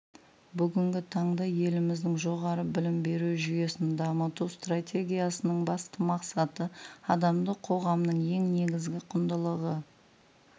бүгінгі таңда еліміздің жоғары білім беру жүйесін дамыту стратегиясының басты мақсаты адамды қоғамның ең негізгі құндылығы